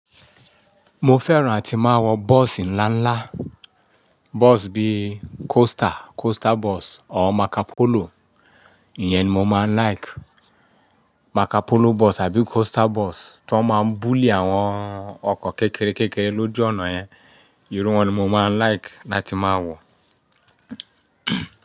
Mo fẹ́ràn ti máa wọ bọ́ọ̀sì ńlá ńlá. Bọ́ọ̀sì bí i coaster, coaster bus or Marcopolo, ìyẹn ni mo máa ń like. Marcopolo bus àbí coaster bus tí wọ́n máa ń bully àwọn ọkọ̀ kékeré lójú ọ̀nà yẹn, irú wọn ni mo máa ń like láti máa wọ.